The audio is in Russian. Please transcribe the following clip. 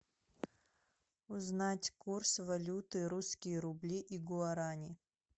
узнать курс валюты русские рубли и гуарани